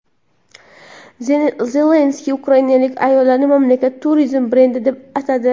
Zelenskiy ukrainalik ayollarni mamlakat turizm brendi deb atadi.